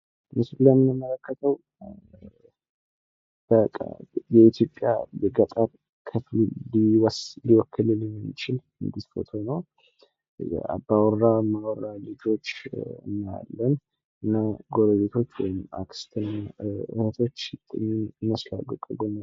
ምስሉ ላይ የምንመለከተው በኢትዮጵያ በገጠር ክፍል ሊወክልልን የሚችል ፎቶ ነው። አባወራ እማወራ ልጆች እናያለን ጎረቤቶች ወይም አክስትና እህቶች ይመስላሉ ከጎን።